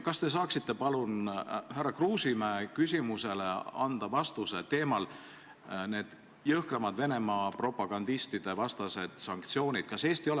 Kas te saaksite palun anda vastuse härra Kruusimäe küsimusele, mis oli Venemaa propagandistide vastaste jõhkramate sanktsioonide teemal?